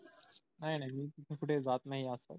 नाही नाही मी तिथे कुठे जात नाही आस पास